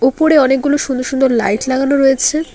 উপরে অনেকগুলো সুন্দর সুন্দর লাইট লাগানো রয়েছে।